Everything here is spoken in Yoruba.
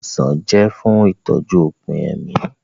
Ilé ìwòsàn jẹ́ fún ìtọ́jú òpin ẹ̀mí